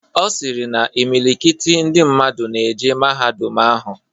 Ọ sịrị na imilikiti ndị mmadụ na-eje mahadum ahụ.